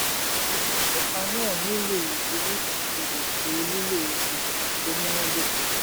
rọ́lákẹ́: ẹ̀ka náà nílò ìwúrí àti ètò lílo ilẹ̀ tó múná dóko.